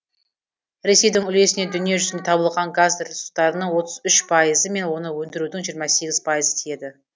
ресейдің үлесіне дүние жүзінде табылған газ ресурстарының отыз үш пайызы мен оны өндірудің жиырма сегіз пайызы тиеді